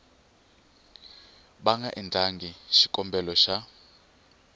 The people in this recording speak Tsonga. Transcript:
va nga endlaku xikombelo xa